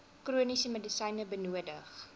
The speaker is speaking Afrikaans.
chroniese medisyne benodig